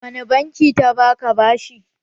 Wani banki ta ba ka bashi?